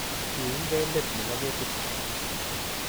Kiunygei let nebo ketit